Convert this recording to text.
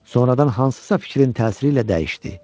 Sonradan hansısa fikrin təsiri ilə dəyişdi.